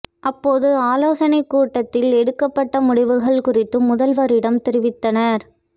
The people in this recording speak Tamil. அப்போது ஆலோசனைக் கூட்டத்தில் எடுக்கப்பட்ட முடிவுகள் குறித்து முதல்வரிடம் தெரிவித்தனர்